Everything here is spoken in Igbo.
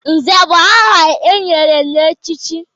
Nze bụ aha e nyere n'ọchịchị